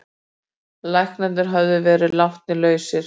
Læknarnir höfðu verið látnir lausir.